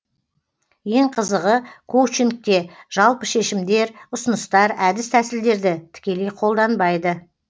ең қызығы коучингте жалпы шешімдер ұсыныстар әдіс тәсілдерді тікелей қолданбайды